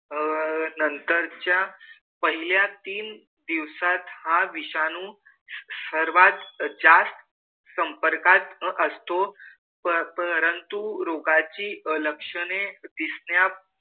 अह नंतरच्या पहिल्या तीन दिवसात हा विषाणू सर्वात जास्त संपर्कात अं असतो. प परंतु रोगाची लक्षणे दिसण्या,